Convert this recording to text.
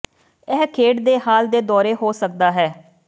ਇਹ ਖੇਡ ਦੇ ਹਾਲ ਦੇ ਦੌਰੇ ਹੋ ਸਕਦਾ ਹੈ